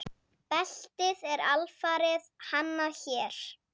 Beltið er alfarið hannað hér.